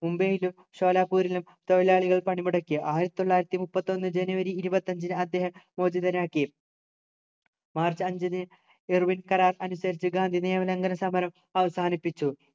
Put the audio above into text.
മുംബൈയിലും ഷോലാപ്പൂരിലും തൊഴിലാളികൾ പണിമുടക്കി ആയിരത്തി തൊള്ളായിരത്തിമുപ്പത്തൊന്നു ജനുവരി ഇരുപത്തഞ്ചിന് അദ്ദേഹം മോചിതനാക്കി മാർച്ച് അഞ്ചിന് എർവിന് കരാർ അനുസരിച്ചു ഗാന്ധി നിയമലംഘന സമരം അവസാനിപ്പിച്ചു